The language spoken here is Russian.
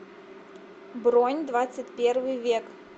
бронь двадцатьпервый век